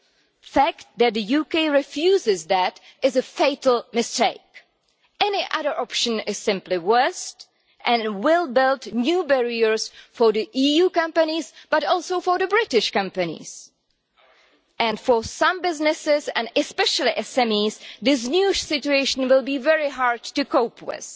The fact that the UK refuses that is a fatal mistake. Any other option is simply worse and will build new barriers for EU companies, but also for British companies, and for some businesses, especially SMEs, this new situation will be very hard to cope with.